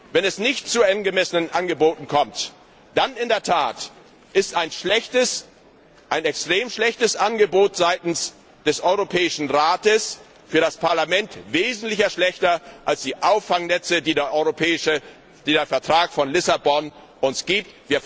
Wenn es nicht zu angemessenen Angeboten kommt, dann ist in der Tat ein schlechtes, ein extrem schlechtes Angebot seitens des Europäischen Rates für das Parlament wesentlich schlechter als die Auffangnetze, die der Vertrag von Lissabon uns gibt.